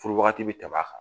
Furu waagati bɛ tɛmɛ a kan.